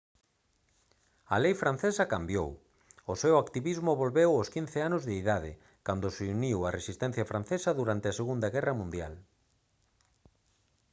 a lei francesa cambiou o seu activismo volveu aos 15 anos de idade cando se uniu á resistencia francesa durante a segunda guerra mundial